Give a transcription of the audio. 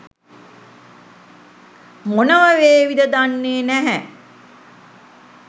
මොනවා වේවිද දන්නෙ නෑ.